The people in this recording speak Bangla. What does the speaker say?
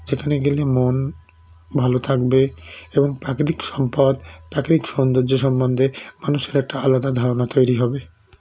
যেখানে গেলে মন ভালো থাকবে এবং প্রাকৃতিক সম্পদ প্রাকৃতিক সৌন্দর্য সমন্ধে মানুষের একটা আলাদা ধারণা তৈরি হবে